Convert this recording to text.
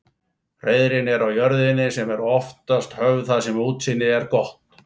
Hreiðrin eru á jörðinni en eru oftast höfð þar sem útsýni er gott.